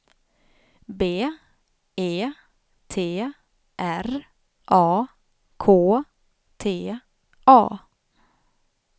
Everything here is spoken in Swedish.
B E T R A K T A